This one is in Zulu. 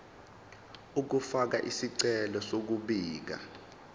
ukufaka isicelo sokubika